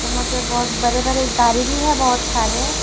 पे बहुत बड़े बड़े गाड़ी भी है बहुत सारे--